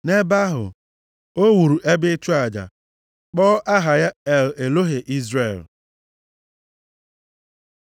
Nʼebe ahụ, o wuru ebe ịchụ aja, kpọọ aha ya El Elohe Izrel. + 33:20 Nke a pụtara Chineke Izrel dị ike nke ukwuu.